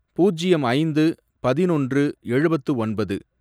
பூஜ்யம் ஐந்து, பதினொன்று, எழுபத்து ஒன்பது